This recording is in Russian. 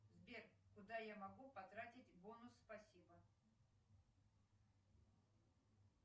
сбер куда я могу потратить бонус спасибо